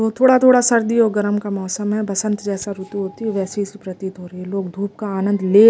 तो थोड़ा-थोड़ा सर्दी और गर्म का मौसम है बसंत जैसा रुतु होती है वैसे लोग धूप का आनंद ले--